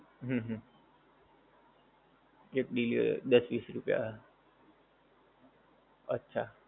હમ હમ એક બી દસ વિસ રૂપિયા અચ્છા